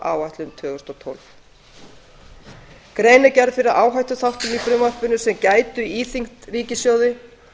áætlun tvö þúsund og tólf gerð er grein fyrir áhættuþáttum í frumvarpinu sem gætu íþyngt ríkissjóði